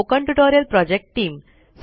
spoken tutorial project team